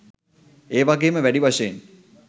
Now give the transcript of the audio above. එවගේම වැඩි වශයෙන්